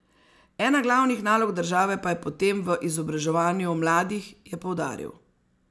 Ena glavnih nalog države pa je potem v izobraževanju mladih, je poudaril.